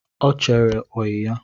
Ọ chere oyi ya